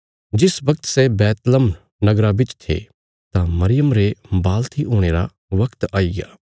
जिस बगत सै बैतलहम नगरा बिच थे तां मरियम रे वाल़्थी हुणे रा बगत आईग्या